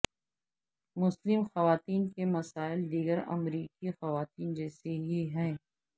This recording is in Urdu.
مسلم خواتین کے مسائل دیگر امریکی خواتین جیسے ہی ہیں